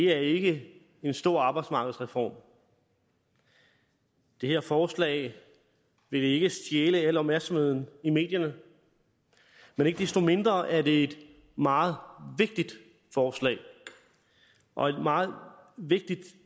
er ikke en stor arbejdsmarkedsreform det her forslag vil ikke stjæle al opmærksomheden i medierne men ikke desto mindre er det et meget vigtigt forslag og et meget vigtigt